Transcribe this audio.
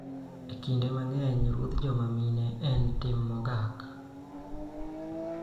Kinde mang�eny, rodho joma mine en tim mogak.